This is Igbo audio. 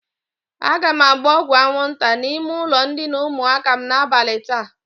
Aga m agba ọgwụ aṅwụnta n'ime ụlọ ndịna ụmụaka m n'abali taa.